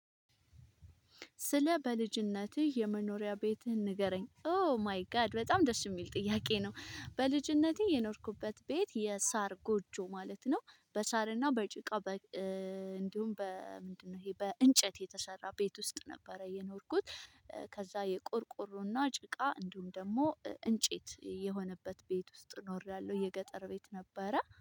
ስለ በልጅነትህ የመኖሪያ ቤትህን ንገረኝ? ኦ ማይ ጋድ በጣም ደስ የሚል ጥያቄ ነው በልጅነቴ የኖርኩበት ቤት የሳር ጎጆ ማለት ነው በሳርና በጭቃ እንዲሁም በምንድነው ይሄ በእንጨት የተሰራ ቤት ውስጥ ነበረ የኖርኩት ከዛ የቆርቆሮና ጭቃ እንዲሁም ደግሞ እንጨት የሆነበት ቤት ውስጥ ኖሬያለሁ የገጠር ቤት ነበረ